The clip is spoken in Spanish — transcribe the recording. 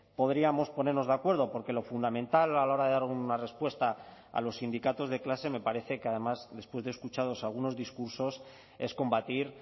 podríamos ponernos de acuerdo porque lo fundamental a la hora de dar una respuesta a los sindicatos de clase me parece que además después de escuchados algunos discursos es combatir